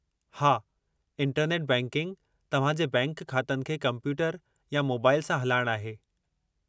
हां, internet banking तव्हां जे बैंक ख़ातनि खे कंप्यूटर या मोबाइल सां हलाइणु आहे।